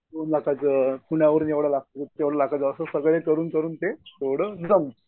पुण्यावरून एवढा लागतो. एवढ्या लाखाचं एवढं करून करून ते